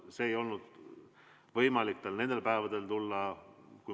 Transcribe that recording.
Tal ei olnud võimalik tulla nendel päevadel.